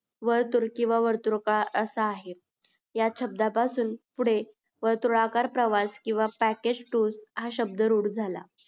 वर्तुळ किव्हा वर्तृका असा आहे या शब्दा पासून पुढे वर्तुळाकार प्रवास किव्हा package tour हा शब्द रूढ झाला